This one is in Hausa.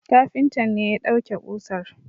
Kafintan ne ya dauke kusar